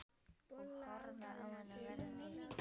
Og horfa á hana verða til.